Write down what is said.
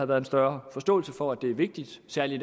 været en større forståelse for er vigtigt særlig